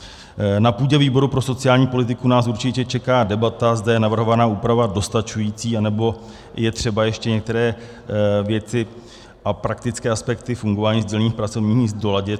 Na půdě výboru pro sociální politiku nás určitě čeká debata, zda je navrhovaná úprava dostačující, anebo je třeba ještě některé věci a praktické aspekty fungování sdílených pracovních míst doladit.